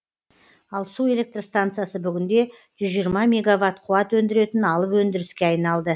ал су электр станциясы бүгінде жүз жиырма мегаватт қуат өндіретін алып өндіріске айналды